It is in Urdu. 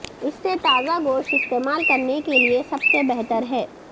اس سے تازہ گوشت استعمال کرنے کے لئے سب سے بہتر ہے